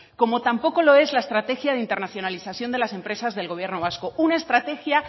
como tampoco lo es la estrategia de internacionalización de las empresas del gobierno vasco una estrategia